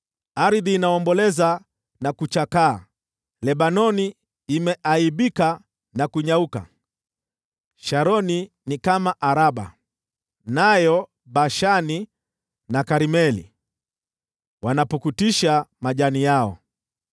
Ardhi inaomboleza na kuchakaa, Lebanoni imeaibika na kunyauka, Sharoni ni kama Araba, nayo Bashani na Karmeli wanapukutisha majani yao.